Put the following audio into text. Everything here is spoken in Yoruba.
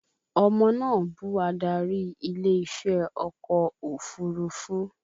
Ọmọ náà bú adarí ilé iṣẹ́ ọkọ̀ òfurufú